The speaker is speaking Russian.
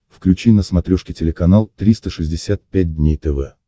включи на смотрешке телеканал триста шестьдесят пять дней тв